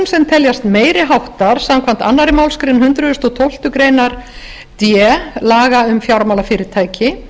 brotum sem teljast meiri háttar samkvæmt annarri málsgrein hundrað og tólftu grein d laga um fjármálafyrirtæki